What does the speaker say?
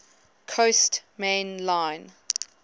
coast main line